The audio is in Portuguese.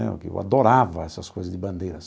Eu adorava essas coisas de bandeira.